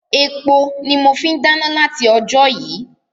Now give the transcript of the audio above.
Epo ni mọ fi ń dáná láti ojó yìí.